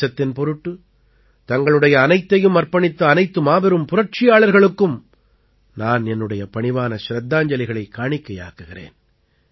தேசத்தின் பொருட்டு தங்களுடைய அனைத்தையும் அர்ப்பணித்த அனைத்து மாபெரும் புரட்சியாளர்களுக்கும் நான் என்னுடைய பணிவான சிரத்தாஞ்சலிகளைக் காணிக்கையாக்குகிறேன்